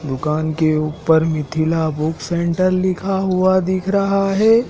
दुकान के ऊपर मिथिला बुक सेंटर लिखा हुआ दिख रहा है।